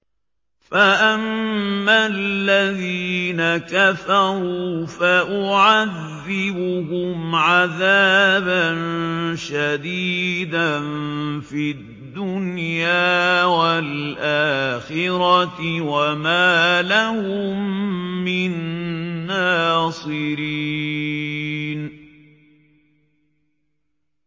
فَأَمَّا الَّذِينَ كَفَرُوا فَأُعَذِّبُهُمْ عَذَابًا شَدِيدًا فِي الدُّنْيَا وَالْآخِرَةِ وَمَا لَهُم مِّن نَّاصِرِينَ